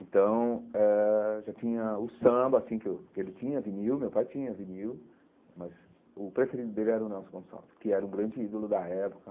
Então eh, já tinha o samba, assim, que eu que ele tinha vinil, meu pai tinha vinil, mas o preferido dele era o Nelson Gonçalves, que era um grande ídolo da época.